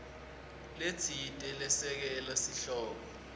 letsite lesekela sihloko